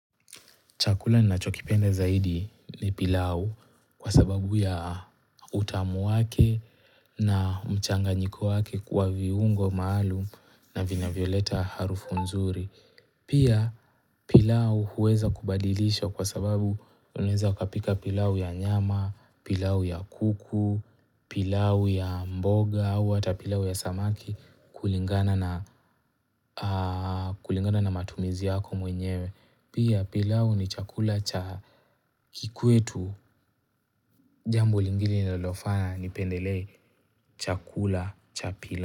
Chakula ninachokipenda zaidi ni pilau kwa sababu ya utamu wake na mchanganyiko wake kuwa viungo maalum na vinayoleta harufu nzuri. Pia pilau huweza kubadilishwa kwa sababu unaweza ukapika pilau ya nyama, pilau ya kuku, pilau ya mboga au hata pilau ya samaki kulingana na kulingana na matumizi yako mwenyewe. Pia pilau ni chakula cha kikwetu jambo lingiline lilofanya ni pendelee chakula cha pilau.